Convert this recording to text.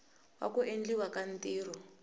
wa ku endliwa ka ntirho